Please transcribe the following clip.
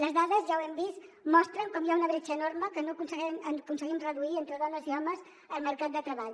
les dades ja ho hem vist mostren com hi ha una bretxa enorme que no aconseguim reduir entre dones i homes al mercat de treball